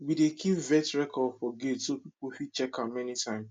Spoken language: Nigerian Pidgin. we dey keep vet record for gate so people fit check am anytime